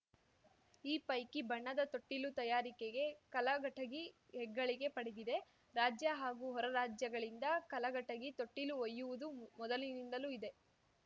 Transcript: ಈ ಪೈಕಿ ಬಣ್ಣದ ತೊಟ್ಟಿಲು ತಯಾರಿಕೆಗೆ ಕಲಘಟಗಿ ಹೆಗ್ಗಳಿಕೆ ಪಡೆದಿದೆ ರಾಜ್ಯ ಹಾಗೂ ಹೊರ ರಾಜ್ಯಗಳಿಂದ ಕಲಘಟಗಿ ತೊಟ್ಟಿಲು ಒಯ್ಯುವುದು ಮೊದಲಿನಿಂದಲೂ ಇದೆ